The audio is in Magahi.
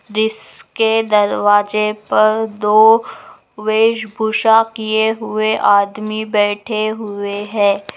जिसके दरवाजे पर दो वेश भूषा किए हुए आदमी बैठे हुए है ।